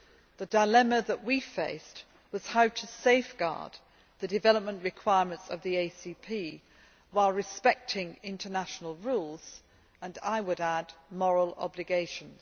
The dilemma that we faced was how to safeguard the development requirements of the ACP while respecting international rules and, I would add, moral obligations.